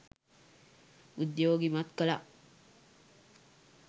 උද්යෝගිමත් කළා